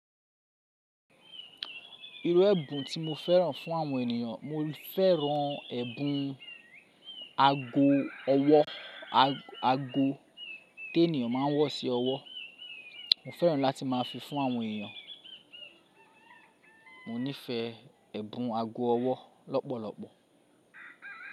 Irú ẹ̀bùn tí mo fẹ́ràn fún àwọn ènìyàn, mo fẹ́ràn ẹ̀bùn ago ọwọ́, ago tí ènìyàn máa ń wọ̀ sí ọwọ́. Mo fẹ́ràn láti máa fi fún àwọn ènìyàn. Mo nífẹ̀ẹ́ ẹ̀bùn ago ọwọ́ lọ́pọ̀lọpọ̀.